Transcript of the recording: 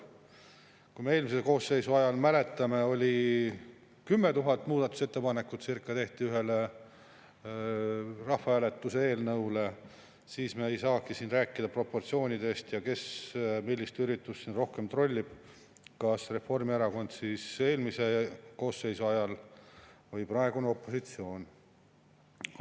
Kuna eelmise koosseisu ajal tehti, nagu me mäletame, ühe rahvahääletuse eelnõu kohta circa 10 000 muudatusettepanekut, siis me ei saagi siin rääkida proportsioonidest ega sellest, kes millist üritust siin rohkem trollib, kas seda tegi Reformierakond eelmise koosseisu ajal või teeb praegune opositsioon.